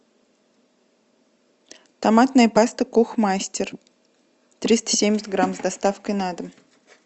томатная паста кухмастер триста семьдесят грамм с доставкой на дом